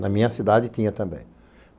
Na minha cidade tinha também.